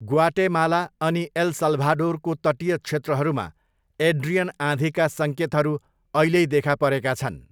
Guatemala अनि एल साल्भाडोरको तटीय क्षेत्रहरूमा एड्रियन आँधीका सङ्केतहरू अहिल्यैै देखा परेका छन्।